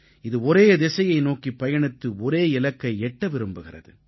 இது ஒரே திசையை நோக்கிப் பயணித்து ஒரே இலக்கை எட்ட விரும்புகிறது